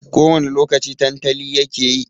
Ko wani lokaci tantali yake yi.